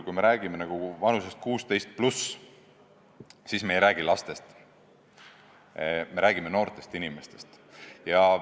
Kui me räägime vanusest 16+, siis me ei räägi lastest, me räägime noortest inimestest.